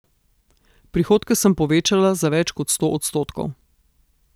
Prihodke sem povečala za več kot sto odstotkov.